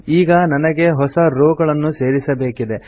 ಈಗ ನನಗೆ ಹೊಸ rowಗಳನ್ನು ಸೇರಿಸಬೇಕಿದೆ